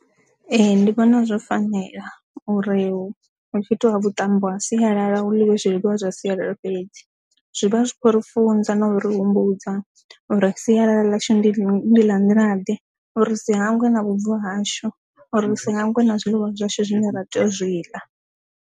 Ee, ndi vhona zwo fanela uri hu tshi itwa vhuṱambo ha sialala hu ḽe zwiḽiwa zwa sialala fhedzi zwi vha zwi khou ri funza na uri humbudza uri sialala ḽashu ndi ḽa nḓila ḓe uri si hangwe na vhubvo hashu uri ri sa hangwe na zwiḽiwa zwashu zwine ra tea u zwi ḽa.